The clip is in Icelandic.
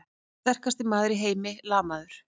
Sterkasti maður í heimi lamaður!